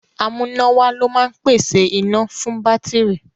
Amúnáwá ló máa ń pèsè iná fún bátìrì.